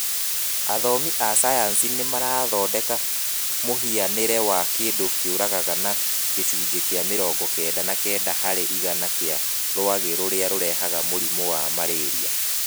Athomi a cayanici nĩ marathondeka mũhianĩre wa kĩndũ kĩũragaga na gĩcunjĩ kĩa mirongo kenda na kenda harĩ igana kĩa rwagĩ rũrĩa rurehaga mũrimũ wa marĩria.